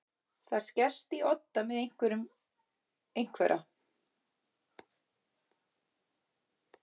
Það skerst í odda með einhverjum einhverra